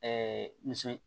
muso